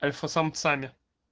альфа самцами